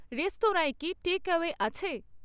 রেস্তরাঁয় কি টেকঅ্যাওয়ে আছে?